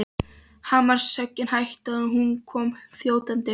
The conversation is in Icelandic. Hamarshöggin hættu og hún kom þjótandi.